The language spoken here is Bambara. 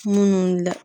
Munnu la